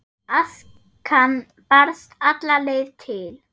Askan barst alla leið til